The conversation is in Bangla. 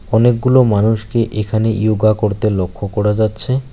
অনেকগুলো মানুষকে এখানে ইয়োগা করতে লক্ষ্য করা যাচ্ছে।